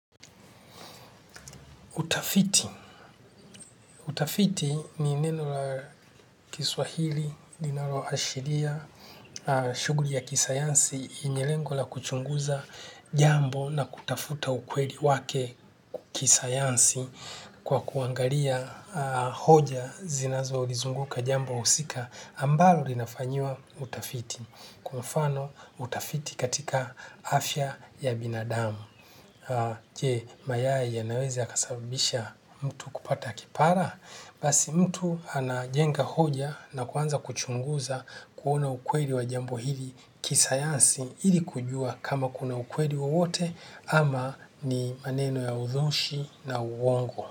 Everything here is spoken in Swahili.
Utafiti. Utafiti ni neno la kiswahili, linalo ashiria, shughuli ya kisayansi inalengo la kuchunguza jambo na kutafuta ukweli wake kisayansi kwa kuangalia hoja zinazo ulizunguka jambo husika ambalo linafanyiwa utafiti. Kwa mfano utafiti katika afya ya binadamu. Je, mayai yanaweza kasababisha mtu kupata kipara, basi mtu anajenga hoja na kuanza kuchunguza kuona ukweli wa jambo hili kisayansi ili kujua kama kuna ukweli wowote ama ni maneno ya udhushi na uongo.